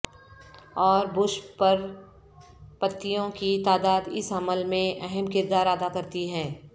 اور بش پر پتیوں کی تعداد اس عمل میں اہم کردار ادا کرتی ہے